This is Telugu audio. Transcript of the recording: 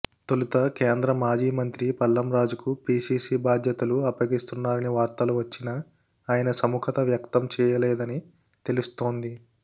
తొలుత కేంద్ర మాజీ మంత్రి పల్లంరాజుకు పిసిసి బాధ్యతలు అప్పగిస్తున్నారని వార్తలు వచ్చినా ఆయన సుముఖత వ్యక్తం చేయలేదని తెలుస్తోంది